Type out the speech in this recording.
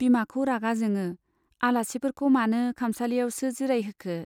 बिमाखौ रागा जोङो, आलासिफोरखौ मानो खामसालियावसो जिरायहोखो ?